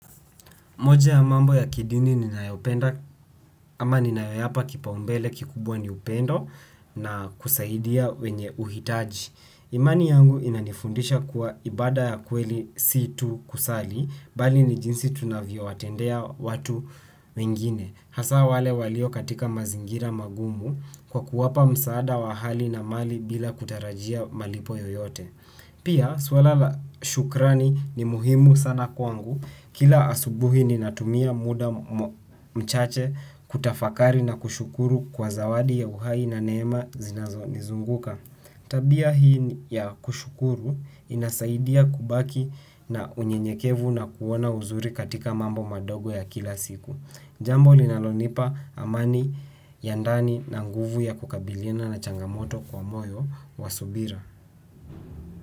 Moja ya mambo ya kidini ninayopenda ama ninayoyapa kipaumbele kikubwa ni upendo na kusaidia wenye uhitaji. Imani yangu inanifundisha kuwa ibada ya kweli si tu kusali bali ni jinsi tunavyowatendea watu wengine. Hasa wale walio katika mazingira magumu kwa kuwapa msaada wa hali na mali bila kutarajia malipo yoyote. Pia swala la shukrani ni muhimu sana kwangu. Kila asubuhi ninatumia muda mchache kutafakari na kushukuru kwa zawadi ya uhai na neema zinazonizunguka. Tabia hii ya kushukuru inasaidia kubaki na unyenyekevu na kuona uzuri katika mambo madogo ya kila siku. Jambo linalonipa amani ya ndani na nguvu ya kukabilina na changamoto kwa moyo wa subira.